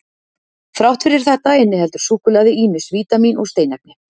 Þrátt fyrir þetta inniheldur súkkulaði ýmis vítamín og steinefni.